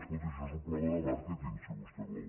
escolti això és un problema de màrqueting si vostè vol